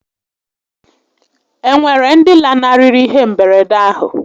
E nwere ndi lanarịrị ihé mberede ahụ?